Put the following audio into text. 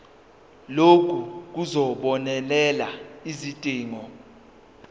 lokhu kuzobonelela izidingo